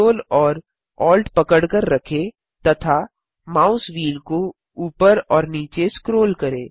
ctrl और alt पकड़कर रखें तथा माउस व्हील को ऊपर और नीचे स्क्रोल करें